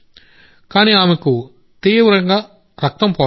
కాని ఆమెకు తీవ్ర రక్తస్రావం జరిగింది